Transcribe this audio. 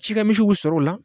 Cikɛ misiw bi sɔrɔ o la